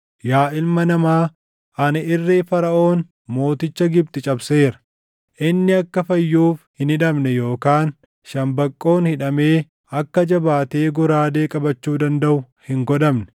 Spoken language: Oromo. “Yaa ilma namaa, ani irree Faraʼoon mooticha Gibxi cabseera. Inni akka fayyuuf hin hidhamne yookaan shambaqqoon hidhamee akka jabaatee goraadee qabachuu dandaʼu hin godhamne.